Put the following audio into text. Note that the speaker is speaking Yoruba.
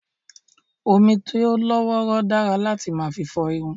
Omi tí ó lọ́ wọ́rọ́ dára láti máa fi fọ irun